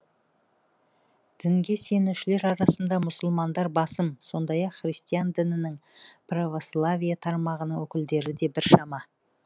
дінге сенушілер арасында мұсылмандар басым сондай ақ христиан дінінің православие тармағының өкілдері де біршама